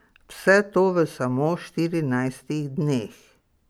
Vse to v samo štirinajstih dneh.